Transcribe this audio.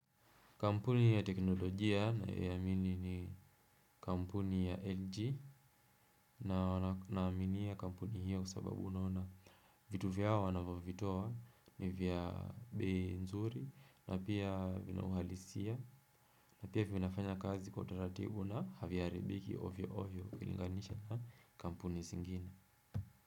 Kampuni ya teknolojia ninayoamini ni kampuni ya LG na wanaamini ya kampuni hiyo kwa sababu unaona vitu vyao wanavyo vitoa ni vya bei nzuri na pia vinauhalisia na pia vinafanya kazi kwa utaratibu na haviharibiki ovyo ovyo ukilinganisha na kampuni zingina.